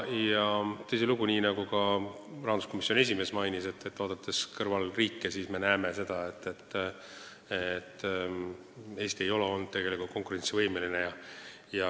Tõsilugu, nii nagu ka rahanduskomisjoni esimees mainis, naaberriike vaadates me näeme, et Eesti ei ole tegelikult olnud konkurentsivõimeline.